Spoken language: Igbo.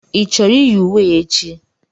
Ị chọrọ iyi uwe a echi?